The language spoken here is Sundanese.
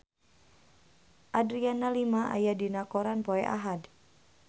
Adriana Lima aya dina koran poe Ahad